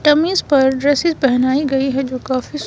dummies पर dresses पेहनाइ गइ हैं जो काफी--